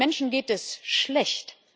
Den Menschen geht es schlecht.